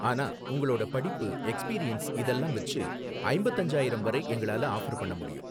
ஆனா உங்களோட படிப்பு, எக்ஸ்பீரியன்ஸ் இதெல்லாம் வச்சு ஐம்பத்து அஞ்சாயிரம் வரை எங்களால ஆஃபர் பண்ண முடியும்